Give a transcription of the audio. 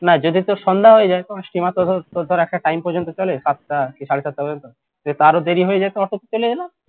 না যদি তোর সন্ধ্যা হয়ে যাই steamer ধর তোর ধর একটা time পর্যন্ত চলে সাতটা কি সাড়েসাতটা পর্যন্ত আরো দেরি হয়ে যেত auto তে চলে এলাম